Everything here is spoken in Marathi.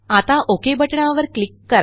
आता ओक बटणावर क्लिक करा